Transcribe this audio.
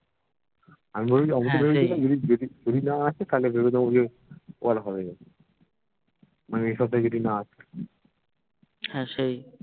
আমি বলছি আমি তো ভেবেছিলাম যদি বেশি যদি না আসে তাহলে ভেবেছিলাম যে ও আর হবেই না মানে এসপ্তাহে যদি না আসে হ্যা সেই